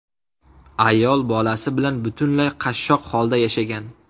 Ayol bolasi bilan butunlay qashshoq holda yashagan.